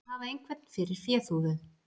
Að hafa einhvern fyrir féþúfu